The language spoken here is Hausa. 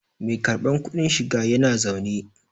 Mai karbar kudin shiga yana zaune